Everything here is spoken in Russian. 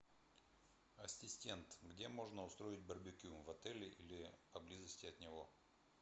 ассистент где можно устроить барбекю в отеле или поблизости от него